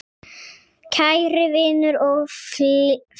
Kæri vinur og félagi.